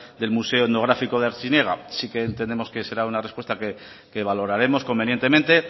del museo etnográfico de artziniega sí que entendemos que será una respuesta que valoraremos convenientemente